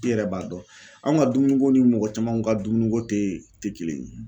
I yɛrɛ b'a dɔn an ka dumuniko ni mɔgɔ caman ka dumuniko tɛ tɛ kelen ye.